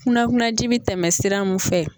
Kunna kuna ji bi tɛmɛ sira mun fɛ.